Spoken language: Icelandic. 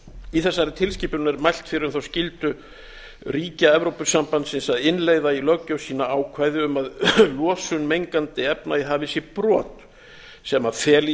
í þessari tilskipun er mælt fyrir um þá skyldu ríkja evrópusambandsins að innleiða í löggjöf sína ákvæði um að losun mengandi efna í hafi sé brot sem feli